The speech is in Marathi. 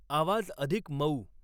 आवाज अधिक मऊ